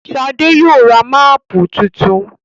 Shade yóò rá Máàpù títún.